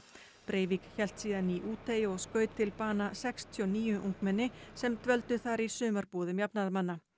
Breivik hélt síðan í Útey og skaut til bana sextíu og níu ungmenni sem dvöldu þar í sumarbúðum jafnaðarmanna